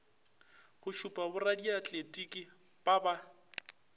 go šupa boradiatletiki ba ba